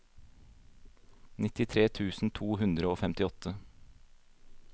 nittitre tusen to hundre og femtiåtte